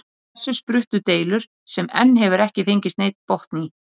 Af þessu spruttu deilur sem enn hefur ekki fengist neinn botn í.